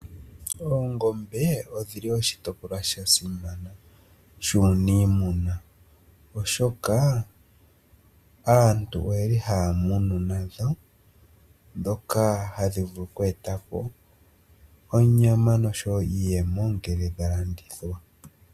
Oongombe odhili oshitopolwa shesimano shuuniimuna, oshoka aantu oye li haya munu nadho, ndhoka hadhi vulu oku e ta po onyama nosho wo iiyemo ngele dha landithwa.